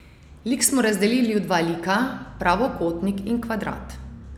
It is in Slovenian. Lik smo razdelili v dva lika, pravokotnik in kvadrat.